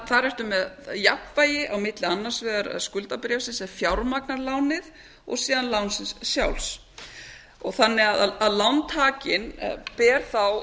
þar ertu því með jafnvægi á milli annars vegar skuldabréfsins sem fjármagnar lánið og síðan lánsins sjálfs þannig að lántakinn ber þá